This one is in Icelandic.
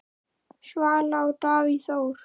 Svala og Davíð Þór.